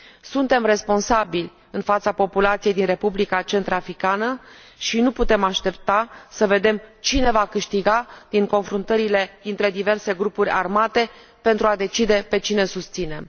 Suntem responsabili în fața populației din Republica Centrafricană și nu putem aștepta să vedem cine va câștiga din confruntările dintre diverse grupuri armate pentru a decide pe cine susținem.